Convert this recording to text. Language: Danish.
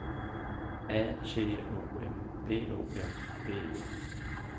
A T O M B O M B E